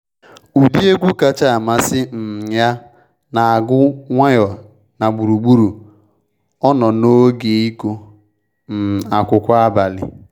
Ụdị egwu kacha amasị um ya na agụ nwayọ n’gburugburu ọnọ n'oge ịgụ um akwụkwọ abalị